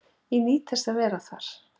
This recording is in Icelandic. Ég nýt þess að vera þar.